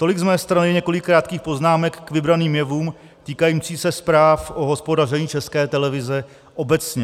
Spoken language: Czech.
Tolik z mé strany několik krátkých poznámek k vybraným jevům týkajícím se zpráv o hospodaření České televize obecně.